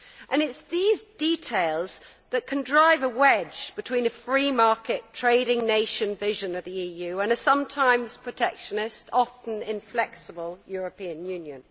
It is these details that can drive a wedge between a free market, trading nation vision of the EU, and a sometimes protectionist, often inflexible European Union.